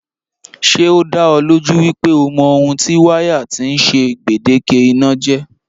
Ṣé o da ọ lójú wípé o mọ ohun tí wáyà tí ń ṣe gbèdéke iná jẹ́?